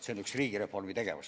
See on üks riigireformi tegevus.